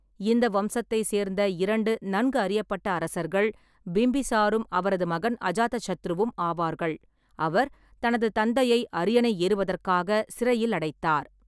இந்த வம்சத்தைச் சேர்ந்த இரண்டு நன்கு அறியப்பட்ட அரசர்கள் பிம்பிசாரரும் அவரது மகன் அஜாதசத்ருவும் ஆவார்கள், அவர் தனது தந்தையை அரியணை ஏறுவதற்காக சிறையில் அடைத்தார்.